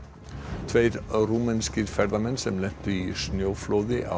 tveir rúmenskir ferðamenn sem lentu í snjóflóði á